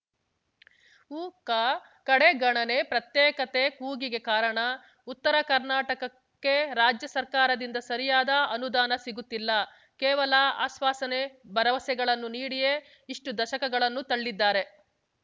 ಉಕ ಕಡೆಗಣನೆ ಪ್ರತ್ಯೇಕತೆ ಕೂಗಿಗೆ ಕಾರಣ ಉತ್ತರ ಕರ್ನಾಟಕಕ್ಕೆ ರಾಜ್ಯ ಸರ್ಕಾರದಿಂದ ಸರಿಯಾದ ಅನುದಾನ ಸಿಗುತ್ತಿಲ್ಲ ಕೇವಲ ಆಶ್ವಾಸನೆ ಭರವಸೆಗಳನ್ನು ನೀಡಿಯೇ ಇಷ್ಟುದಶಕಗಳನ್ನು ತಳ್ಳಿದ್ದಾರೆ